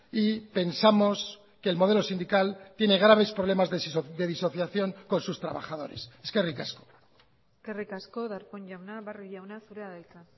y pensamos que el modelo sindical tiene graves problemas de disociación con sus trabajadores eskerrik asko eskerrik asko darpón jauna barrio jauna zurea da hitza